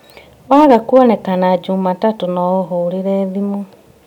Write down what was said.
Waga kuonekana Jumatatũ no ũhũrĩre thimũ